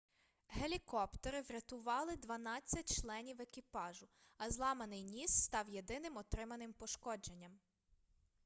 гелікоптери врятували дванадцять членів екіпажу а зламаний ніс став єдиним отриманим пошкодженням